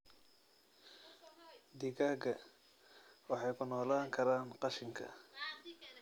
Digaagga waxay ku noolaan karaan qashinka.